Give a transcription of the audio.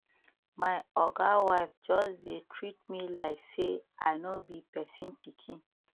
my oga wife just dey treat me like sey i no be pesin pikin